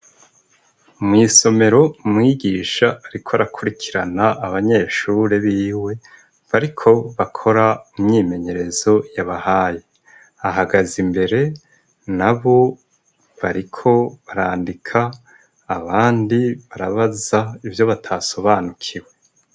Mw’isomero, umwigisha ariko arakurikirana abanyeshure biwe, bariko bakora imyimenyerezo yabahaye; ahagaze imbere, nabo bariko barandika, abandi barabaza ivyo batasobanukiwe.